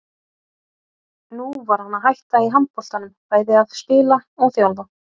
Nú var hann að hætta í handboltanum, bæði að spila og þjálfa.